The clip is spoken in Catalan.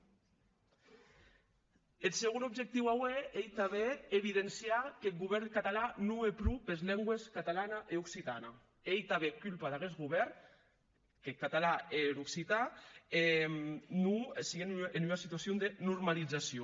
eth segon objectiu aué ei tanben evidenciar qu’eth govèrn catalan non hè pro pes lengües catalana e occitana e ei tanben culpa d’aguest govèrn qu’eth catalan e er occitan non siguen en ua situacion de normalizacion